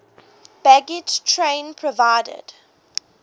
baggage train provided